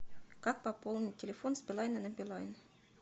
как пополнить телефон с билайна на билайн